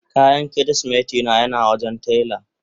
Kayan kirisimeti na yana wajen taila.